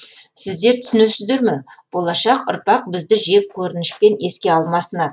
сіздер түсінесіздер ме болашақ ұрпақ бізді жек көрінішпен еске алмасына